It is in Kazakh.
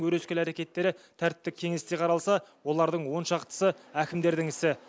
өрескел әрекеттері тәртіптік кеңесте қаралса олардың он шақтысы әкімдердің ісі